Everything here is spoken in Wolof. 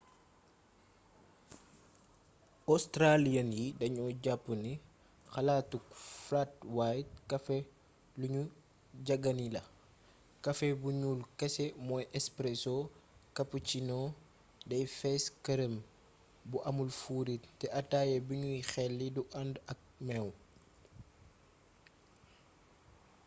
australians yi danu jap ni xalaatuk ‘flat white’ kafé lu gnu jagaani la. kafé bu gnul kese mooy ‘espresso’ cappuccino dey fes kerem bu amul fuurit te ataya binuy xeli du andë ak meew